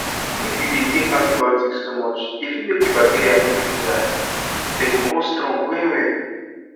if you dey take antibiotics to much e fit make the bacteria no gree die them go come strong well well